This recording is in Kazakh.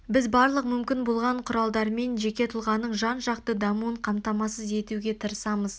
біз барлық мүмкін болған құралдармен жеке тұлғаның жан жақты дамуын қамтамасыз етуге тырысамыз